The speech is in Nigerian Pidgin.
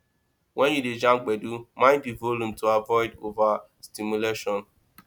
when you dey jam gbedu mind di volume to avoid overstimulation